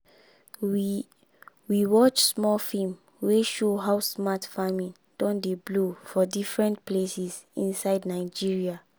we we watch small film wey show how smart farming don dey blow for different places inside nigeria.